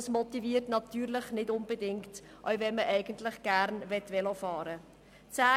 Das motiviert natürlich nicht unbedingt, auch wenn man eigentlich gerne Velo fahren möchte.